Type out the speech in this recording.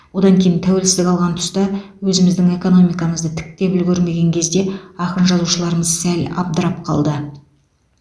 одан кейін тәуелсіздік алған тұста өзіміздің экономикамызды тіктеп үлгермеген кезде ақын жазушыларымыз сәл абдырап қалды